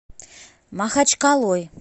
махачкалой